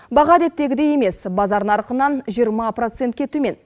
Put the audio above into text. баға әдеттегідей емес базар нарқынан жиырма процентке төмен